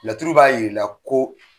Laturu b'a yir'i la ko.